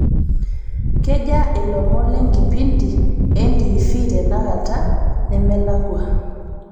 kejaa ilomon lenkipindi entiifii tenakata nemelakua